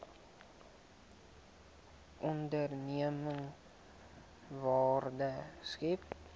onderneming waarde skep